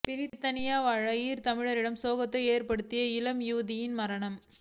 பிரித்தானியா வாழ் ஈழத்தமிழரிடம் சோகத்தை ஏற்படுத்திய இளம் யுவதியின் மரணம்